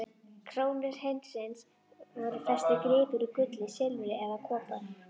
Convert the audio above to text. krónu hreinsins voru festir gripir úr gulli, silfri eða kopar.